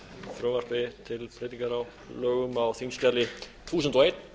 frumvarpi til breytingar á lögum á þingskjali þúsund og eitt